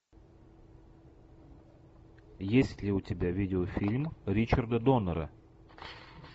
есть ли у тебя видеофильм ричарда доннера